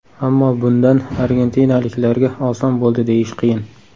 Ammo bundan argentinaliklarga oson bo‘ldi deyish qiyin.